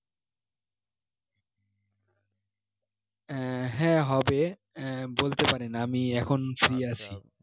আহ হ্যাঁ হবে আহ বলতে পারেন আমি এখন free আছি